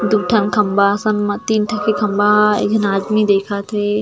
दू ठन खम्बा असन मा तीन ठन के खम्बा एक झन आदमी देखत हे।